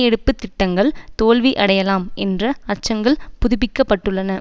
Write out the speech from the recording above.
எடுப்பு திட்டங்கள் தோல்வி அடையலாம் என்ற அச்சங்கள் புதுப்பிக்கப்பட்டுள்ளன